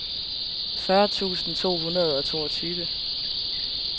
fyrre tusind to hundrede og toogtyve